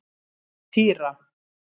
Týra